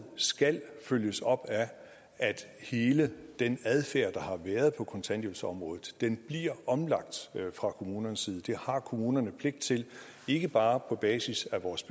skal følges op af at hele den adfærd der har været på kontanthjælpsområdet bliver omlagt fra kommunernes side det har kommunerne pligt til ikke bare på basis af vores